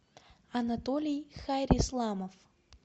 анатолий хайрисламов